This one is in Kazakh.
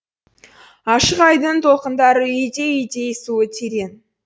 ашық айдынның толқындары үйдей үйдей суы терең